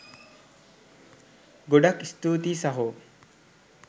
ගොඩක් ස්තුතියි සහෝ.